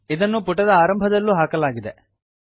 ಇದನ್ನು ಪುಟದ ಆರಂಭದಲ್ಲೂ ಹಾಕಲಾಗಿದೆ